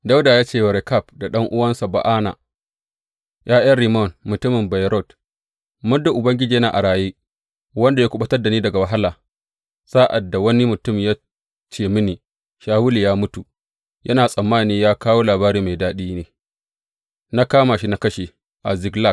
Dawuda ya ce wa Rekab da ɗan’uwansa Ba’ana, ’ya’yan Rimmon mutumin Beyerot, Muddin Ubangiji yana a raye, wanda ya kuɓutar da ni daga wahala, sa’ad da wani mutum ya ce mini, Shawulu ya mutu,’ yana tsammani ya kawo labari mai daɗi ne, na kama shi na kashe a Ziklag.